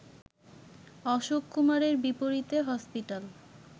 অশোক কুমারের বিপরীতে হসপিটাল